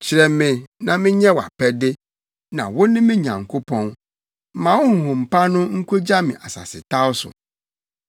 Kyerɛ me na menyɛ wʼapɛde, na wo ne me Nyankopɔn; ma wo honhom pa no nkogya me asasetaw so.